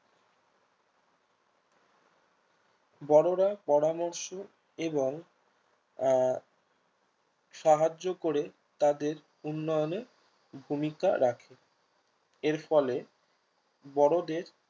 বড়োরা পরামর্শ এবং আহ সাহায্য করে তাদের উন্নয়নে ভূমিকা রাখে এর ফলে বড়োদের